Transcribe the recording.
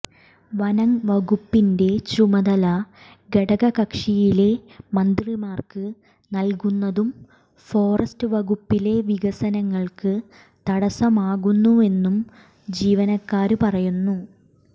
വനംവകുപ്പിന്റെ ചുമതല ഘടകക്ഷിയിലെ മന്ത്രിമാര്ക്ക് നല്കുന്നതും ഫോറസ്റ്റ് വകുപ്പിലെ വികസനങ്ങള്ക്ക് തടസമാകുന്നുവെന്നും ജീവനക്കാര് പറയുന്നു